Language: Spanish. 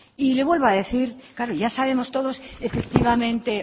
y le vuelvo a decir claro ya sabemos todos efectivamente